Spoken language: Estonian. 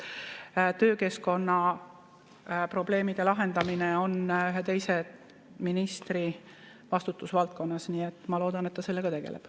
Töökeskkonna probleemide lahendamine on ühe teise ministri vastutusvaldkonnas, nii et ma loodan, et ta sellega tegeleb.